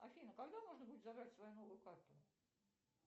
афина когда можно будет забрать сою новую карту